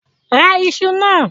Ra iṣu náà!